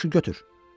Yaxşı götür.